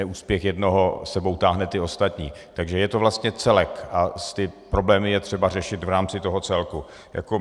Neúspěch jednoho s sebou táhne ty ostatní, takže je to vlastně celek a ty problémy je třeba řešit v rámci toho celku.